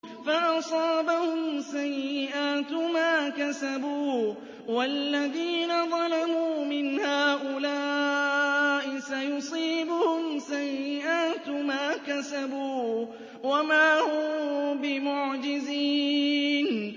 فَأَصَابَهُمْ سَيِّئَاتُ مَا كَسَبُوا ۚ وَالَّذِينَ ظَلَمُوا مِنْ هَٰؤُلَاءِ سَيُصِيبُهُمْ سَيِّئَاتُ مَا كَسَبُوا وَمَا هُم بِمُعْجِزِينَ